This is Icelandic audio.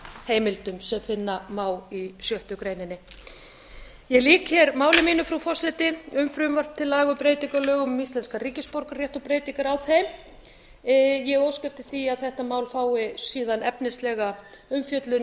heimildum sem finna má í sjötta greininni ég lýk hér máli mínu frú forseti um frumvarp til laga um breytingu á lögum um íslenskan ríkisborgararétt og breytingar á þeim ég óska eftir því að þetta mál fái síðan efnislega umfjöllun